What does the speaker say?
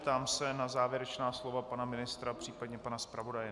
Ptám se na závěrečná slova pana ministra, případně pana zpravodaje.